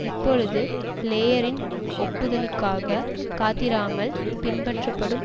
இப்பொழுது பிளேயரின் ஒப்புதலுக்காக காத்திராமல் பின்பற்றப்படும்